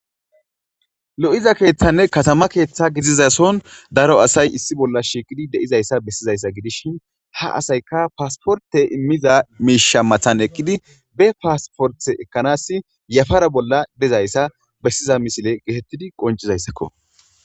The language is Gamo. Lo7iza keeththanne katama keeththa gizizason daro asay issi bolla shiiqidi deizayssa bessizayssa gidishin ha asayka paasporte immiza miisha mathan eqqidi be paasporte ekkanass yafara bolla dezayssa bessiza misile getettidi qoncizayssakko.